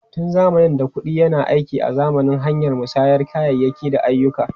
Tun zamanin da, kuɗi yana aiki azaman hanyar musayar kayayyaki da ayyuka.